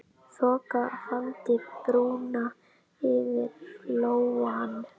Þoka faldi brúna yfir Flóann.